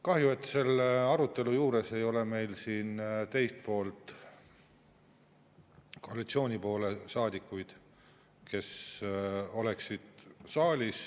Kahju, et selle arutelu juures ei ole meil siin teist poolt, koalitsioonisaadikuid, kes saalis oleksid.